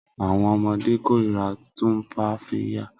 Awọn ọmọde korira Tumfafiya